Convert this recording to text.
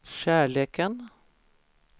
kärleken